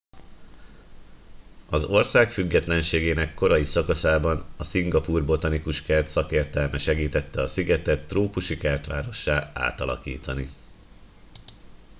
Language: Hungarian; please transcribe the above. az ország függetlenségének korai szakaszában a szingapúr botanikus kert szakértelme segítette a szigetet trópusi kertvárossá átalakítani